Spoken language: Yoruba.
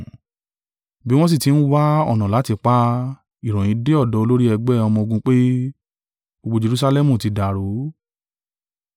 Bí wọn sì ti ń wá ọ̀nà láti pa á, ìròyìn dé ọ̀dọ̀ olórí ẹgbẹ́ ọmọ-ogun pé, gbogbo Jerusalẹmu ti dàrú.